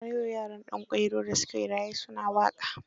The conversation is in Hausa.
Har yau yaran Danƙwairo da su ke raye su na waƙa.